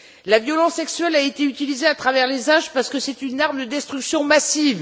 La violence sexuelle a été utilisée à travers les âges parce que c'est une arme de destruction massive.